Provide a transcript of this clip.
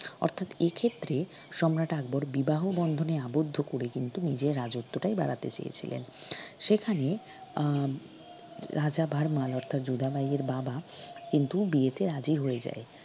অর্থাৎ এক্ষেত্রে সম্রাট আকবর বিবাহ বন্ধনে আবদ্ধ করে কিন্তু নিজের রাজত্যটাই বাড়াতে চেয়েছিলেন সেখানে আহ রাজা ভারমাল অর্থাৎ যোধাবাই এর বাবা কিন্তু বিয়ে তে রাজি হয়ে যায়।